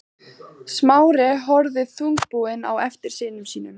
Smári horfði þungbúinn á eftir syni sínum.